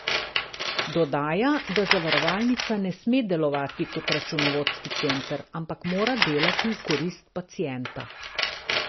Dodaja, da zavarovalnica ne sme delovati kot računovodski center, ampak mora delati v korist pacienta.